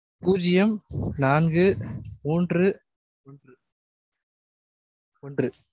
பூஜ்யம் நான்கு மூன்று ஒன்று